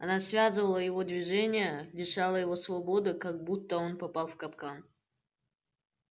она связывала его движения лишала его свободы как будто он попал в капкан